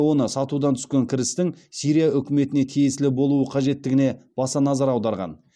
оны сатудан түскен кірістің сирия үкіметіне тиесілі болуы қажеттігіне баса назар аударған